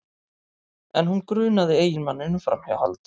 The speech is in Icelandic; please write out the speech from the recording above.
En hún grunaði eiginmanninn um framhjáhald